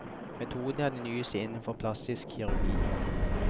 Metoden er den nyeste innenfor plastisk kirurgi.